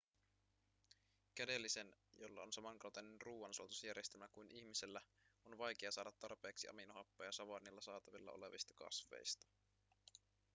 kädellisen jolla on samankaltainen ruoansulatusjärjestelmä kuin ihmisellä on vaikea saada tarpeeksi aminohappoja savannilla saatavilla olevista kasveista